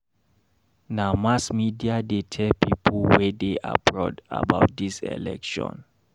Na mass media dey tell pipo wey dey abroad about dis election.